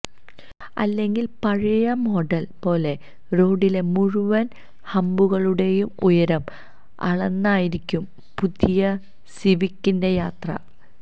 അല്ലെങ്കില് പഴയ മോഡല് പോലെ റോഡിലെ മുഴുവന് ഹമ്പുകളുടെയും ഉയരം അളന്നായിരിക്കും പുതിയ സിവിക്കിന്റെയും യാത്ര